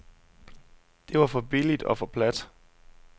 Det var for billigt og for plat.